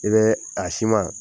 I bɛ a siman